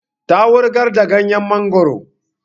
Ta wurgar da ganyen mangoro